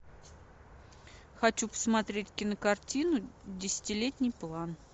хочу посмотреть кинокартину десятилетний план